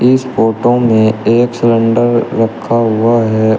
इस फोटो में एक सिलेंडर रखा हुआ है।